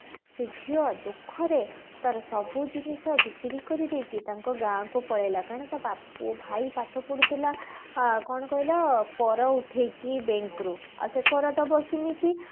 ସେ ଝିଅ ଦୁଖରେ ତାର ସବୁ ଜିନିଷ ବିକ୍ରି କରିଦେଇକି ତାଙ୍କ ଗାଁ କୁ ପଳେଇଲା କାରଣ ତା ବା ଭାଇ ପାଠ ପଢୁଥିଲା ଆ କଣ କହିଲ କର ଉଠେଇକି bank ରୁ ଆଉ ସେ କର ଦେବ କେମିତି